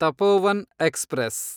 Tapovan express